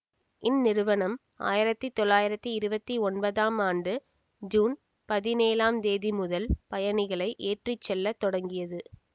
இந்நிறுவனம் ஆயிரத்தி தொள்ளாயிரத்தி இருவத்தி ஒன்பதாம் ஆண்டு ஜூன் பதினேழாம் தேதி முதல் பயணிகளை ஏற்றி செல்ல தொடங்கியது